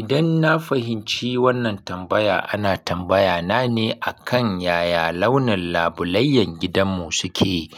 Idan na fahimci wannan tambaya, ana tambaya na ne akan yaya launin labulayyan gidanmu suke.